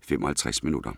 55 minutter.